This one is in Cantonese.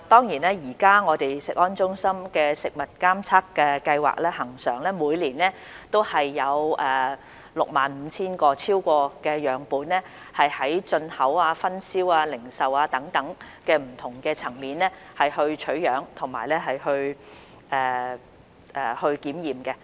現時食安中心的食物監測計劃每年恆常有超過 65,000 個樣本，就進口、分銷、零售等不同層面取樣及檢驗。